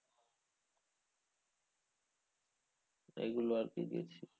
এইগুলো আরকি গেছি।